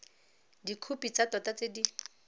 dikhopi tsa tota tse di